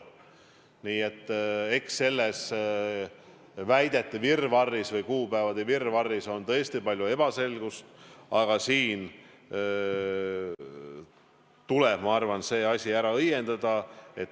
Nii et eks selles väidete või kuupäevade virvarris on tõesti palju ebaselgust, aga see asi tuleb ära õiendada.